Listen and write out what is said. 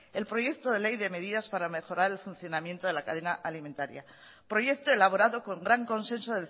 el proyecto de ley de medidas para mejorar el funcionamiento de la cadena alimentaria proyecto elaborado con gran consenso